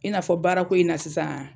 I n'a fɔ baara ko in na sisan